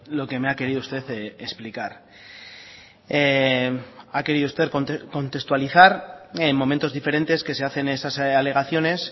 lo que me ha querido usted explicar ha querido usted contextualizar en momentos diferentes que se hacen esas alegaciones